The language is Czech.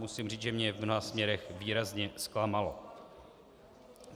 Musím říct, že mě v mnoha směrech výrazně zklamalo.